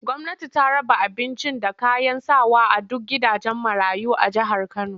Gwamnati ta raba abincin da kayan sawa a duk gidajen marayu na jihar Kano